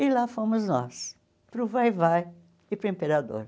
E lá fomos nós, para o Vai-vai e para o Imperador.